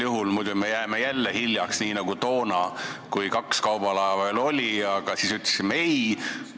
Vahest me jääme jälle hiljaks, nii nagu toona, kui kaks kaubalaeva veel oli, aga me ütlesime ei.